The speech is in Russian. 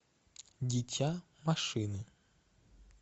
дитя машины